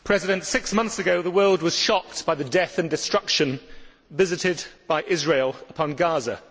Mr President, six months ago the world was shocked by the death and destruction visited by Israel upon Gaza.